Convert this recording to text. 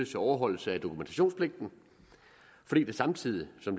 til overholdelse af dokumentationspligten fordi det samtidig som